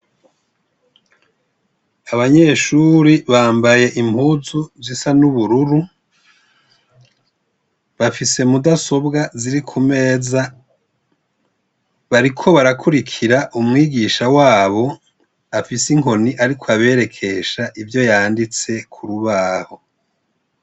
Abanyeshure bambaye impuzu zisa n'ubururu, bafise mudasobwa ziri ku meza, bariko barakurikira umwigisha wabo afise inkoni ariko aberekesha ivyo yanditse ku rubaho.